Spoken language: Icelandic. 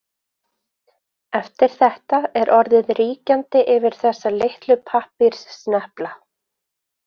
Eftir þetta er orðið ríkjandi yfir þessa litlu pappírssnepla.